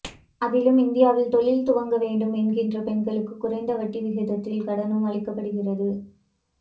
அதிலும் இந்தியாவில் தொழில் துவங்க வேண்டும் என்கின்ற பெண்களுக்குக் குறைந்த வட்டி விகிதத்தில் கடனும் அளிக்கப்படுகிறது